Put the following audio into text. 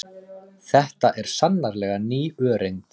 Þetta er sannarlega ný öreind.